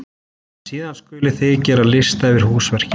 Síðan skulið þið gera lista yfir húsverkin.